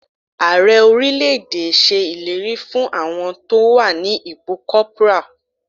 Ààrẹ orílẹ̀ èdè ṣe ìlérí fún àwọn tó wà ní ipò corporal.